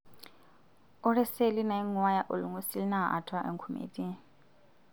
Ore seli nainguaya olngusil naa atua enkume etii.